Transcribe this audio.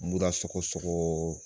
Mura sɔgɔ sɔgɔ